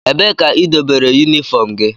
Ebee ka idobere unifom gị?